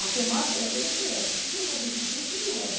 A temática da coisa foi essa, por que é que eu não faço uma escultura sobre roda?